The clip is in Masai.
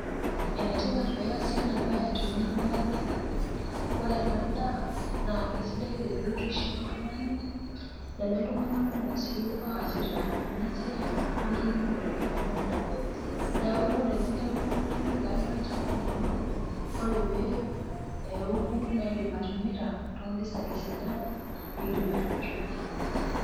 Ene tipat peasi ena siai amu ore ena daa naa kesidai te biotisho toltungani , neme iltunganak kumok si oasita ena siai enkiremore ena daa . Niaku ore piaku itipika iyie olchamba lino ,ore peoku naa indim atimira too mpisai sidan nimdim ataretie kewon.